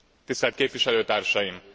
Tisztelt Képviselőtársaim!